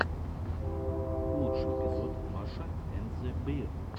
лучший эпизод маша энд зе беар